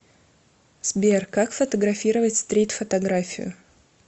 сбер как фотографировать стрит фотографию